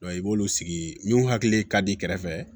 i b'olu sigi min hakili ka di i kɛrɛfɛ